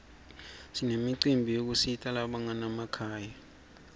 sinemicimbi yekusita labanganamakhaya